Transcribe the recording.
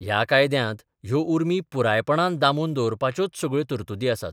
ह्या कायद्यांत ह्यो उर्मी पुरायपणान दामून दवरपाच्योच सगळ्यो तरतुदी आसात.